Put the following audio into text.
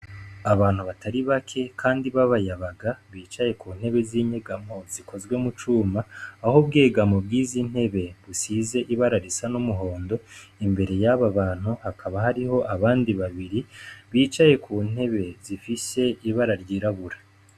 Abantu batari bake kandi b'abayabaga bicaye ku ntebe zinyegamo zikozwe mu cuma, aho ubwegamo bwizi ntebe rusize n'ibara ry'umuhondo, imbere yaba bantu hakaba hariho abandi babiri ibicaye ku ntebe zifise ibara ry'irabura.